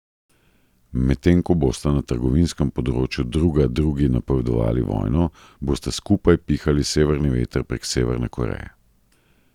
Medtem ko bosta na trgovinskem področju druga drugi napovedovali vojno, bosta skupaj pihali severni veter prek Severne Koreje.